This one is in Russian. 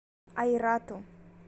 айрату